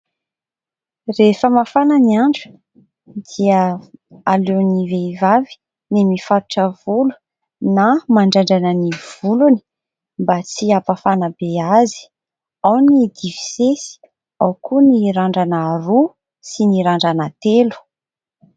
Rehefa mafana ny andro dia aleon'ny vehivavy ny mifatotra volo na mandrandrana ny volony mba tsy hampafana be azy. Ao ny difisesy ao koa ny randrana roa sy ny randrana telo.